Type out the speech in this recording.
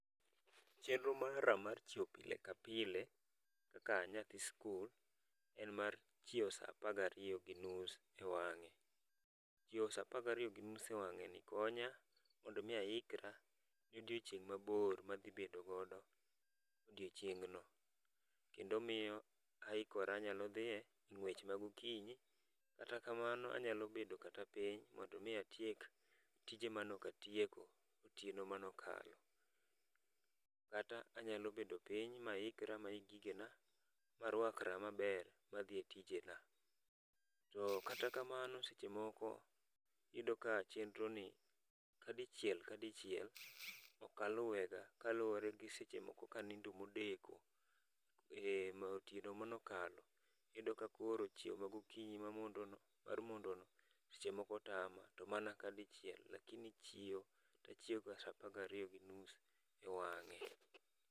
Chenro mara mar chiewo pile ka pile kaka a nyathi skul, en mar chiewo sa apagariyo gi nus e wang'e. Chiewo saa apagariyo gi nus ewang'e ni konya mondo mi aikra ne odiochieng' mabor madhi bedogodo odiochieng'no. Kendo miyo aikora anyalo dhiye e ng'wech ma gokinyi. Kata kamano anyalo bedo kata piny mondo mi atiek tije manokatieko otieno manokalo. Kata anyalo bedo piny maikra maik gigena marwakra maber madhiye tijena. To kata kamano seche moko iyudo ka chenro ni kadichiel kadichiel okaluwega kaluwore gi seche moko kanindo modeko, e otieno manokalo. Iyudo ka koro chiewo ma gokinyi ma mondono mar mondo no seche moko tama. To mana kadichiel, lakini chiewo tachiewo ga saa apagariyo gi nus ewang'e.